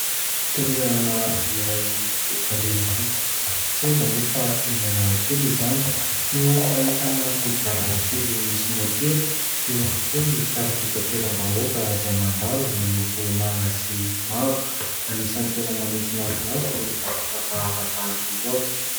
Toerana iray eto an-drenivohitra, tsy aiza moa fa eny Analakely izany no ahitana kodiarana telo misy motera. Eo ihany koa ny fiara fitateram-bahoaka izay mandalo miloko manga sy mavo. Anisan'ny tena manintona ny maso ny zavatra hafahafa tahaka izao.